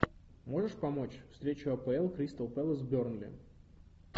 можешь помочь встреча апл кристал пэлас бернли